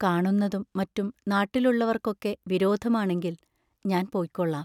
കാണുന്നതും മറ്റും നാട്ടിലുള്ളവർക്കൊക്കെ വിരോധമാണെങ്കിൽ ഞാൻ പൊയ്ക്കൊള്ളാം.